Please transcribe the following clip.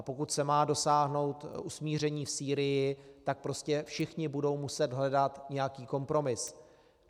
A pokud se má dosáhnout usmíření v Sýrii, tak prostě všichni budou muset hledat nějaký kompromis.